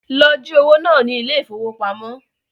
Lọ jí owó náà ní ile-ìfowópamó